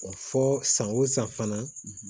O fɔ san o san fana